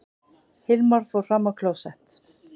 Hilmar fór fram á klósett.